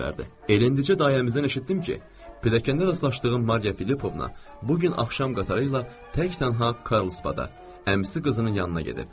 Elə indicə dayımızdan eşitdim ki, pilləkəndə rastlaşdığım Mariya Filipovna bu gün axşam qatarı ilə təkdənha Karlsbada əmisi qızının yanına gedib.